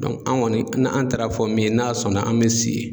an kɔni an taara fɔ min ye n'a sɔnna an bɛ si.